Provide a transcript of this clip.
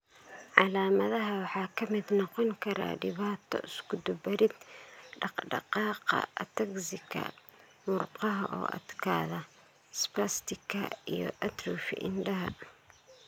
Calaamadaha waxaa ka mid noqon kara dhibaato iskudubarid dhaqdhaqaaqa (ataxika); murqaha oo adkaada (spastika); iyo atrophy indhaha.